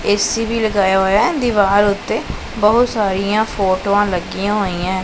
AC ਵੀ ਲਗਾਇਆ ਹੋਇਆ ਦੀਵਾਰ ਉੱਤੇ ਬਹੁਤ ਸਾਰੀਆਂ ਫੋਟੋਆਂ ਲੱਗੀਆਂ ਹੋਈਆਂ।